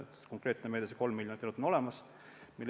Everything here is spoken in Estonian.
Konkreetne meede, see 3 miljonit on olemas.